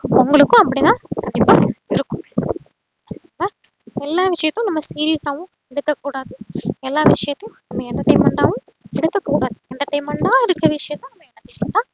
உங்களுக்கும் அப்டிதா இப்போ இருக்கும் எல்லா விஷயத்தையும் நம்ம serious ஆவும் எடுக்க கூடாது எல்லா விஷயத்தையும் நம்ம entertainment டாவும் எடுத்துக்க கூடாது entertainment ஆ இருக்குற விஷயத்த நம்ம